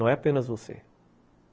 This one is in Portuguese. Não é apenas você.